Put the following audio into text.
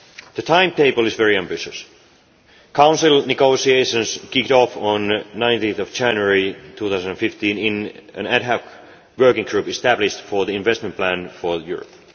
The timetable is very ambitious. Council negotiations kicked off on 19 January 2015 in an ad hoc working group established for the investment plan for Europe.